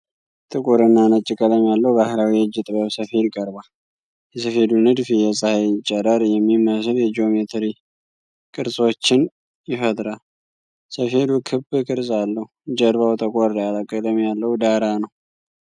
ጥቁር እና ነጭ ቀለም ያለው ባህላዊ የእጅ ጥበብ ሰፌድ ቀርቧል። የሰፌዱ ንድፍ የፀሐይ ጨረር የሚመስል የጂኦሜትሪ ቅርጾችን ይፈጥራል። ሰፌዱ ክብ ቅርጽ አለው፤ ጀርባው ጠቆር ያለ ቀለም ያለው ዳራ ነው።